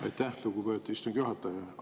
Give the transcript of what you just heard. Aitäh, lugupeetud istungi juhataja!